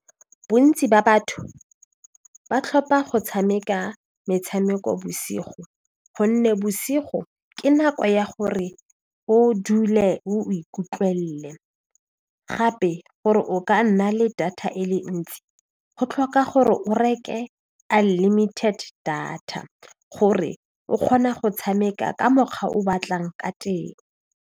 Bontsi ba batho ba tlhopha go tshameka metshameko bosigo gonne bosigo ke nako ya gore o dule o ikutlwelele gape gore o ka nna le data e le ntsi go tlhoka gore o reke a unlimited data gore o kgona go tshameka ka mokgwa o batlang ka teng.